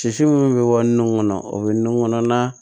Sisi minnu bɛ bɔ nun kɔnɔ o bɛ nɔnɔ kɔnɔ n'a